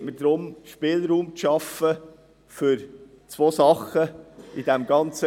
Es geht mir in diesem Kontext darum, Spielraum zu schaffen für zwei Dinge.